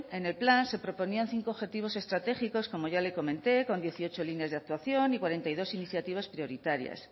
en el plan se proponían cinco objetivos estratégicos como ya le comenté con dieciocho líneas de actuación y cuarenta y dos iniciativas prioritarias